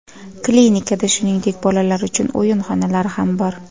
Klinikada, shuningdek, bolalar uchun o‘yin xonalari ham bor.